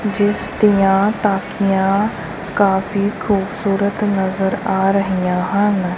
ਜਿਸ ਦੀਆਂ ਤਾਕੀਆਂ ਕਾਫੀ ਖੂਬਸੂਰਤ ਨਜ਼ਰ ਆ ਰਹੀਆਂ ਹਨ।